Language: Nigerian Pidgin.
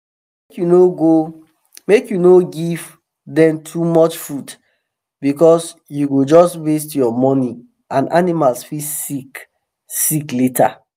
make you no give them too much food because u go just waste ur money and animals fit sick sick later